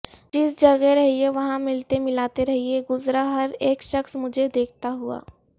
جس جگہ رہئے وہاں ملتے ملاتے رہئے گزرا ہر ایک شخص مجھے دیکھتا ہوا